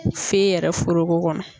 Fe yɛrɛ forogo kɔnɔ.